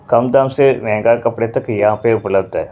कम दाम से महंगा कपड़े तक यहाँ पे उपलब्ध है।